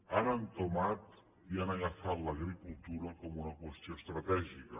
han entomat i han agafat l’agricultura com una qüestió estratègica